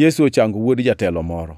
Yesu ochango wuod jatelo moro